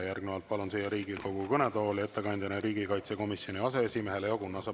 Järgnevalt palun ettekandeks siia Riigikogu kõnetooli riigikaitsekomisjoni aseesimehe Leo Kunnase.